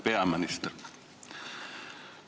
Hea peaminister!